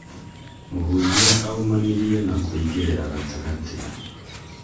mũhunjia aumanirie na kũingĩrĩra gatagatĩ